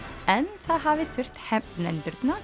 en það hafi þurft